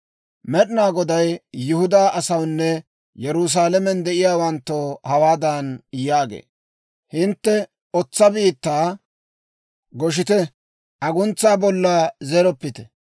Med'inaa Goday Yihudaa asawunne Yerusaalamen de'iyaawanttoo hawaadan yaagee; «Hintte otsa biittaa goshite; aguntsaa bolla zeroppite.